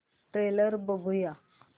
trailer बघूया